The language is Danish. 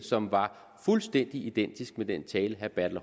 som var fuldstændig identisk med den tale herre bertel